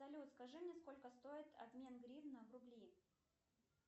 салют скажи мне сколько стоит обмен гривны в рубли